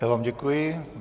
Já vám děkuji.